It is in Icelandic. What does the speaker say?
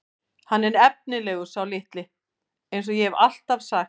Hann er efnilegur sá litli eins og ég hef alltaf sagt.